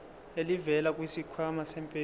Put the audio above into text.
elivela kwisikhwama sempesheni